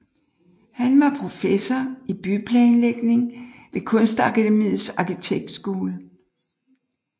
Han var professor i byplanlægning ved Kunstakademiets Arkitektskole